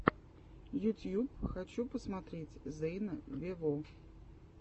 ютьюб хочу посмотреть зейна вево